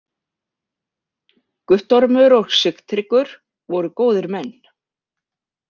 Guttormur og Sigtryggur voru góðir menn.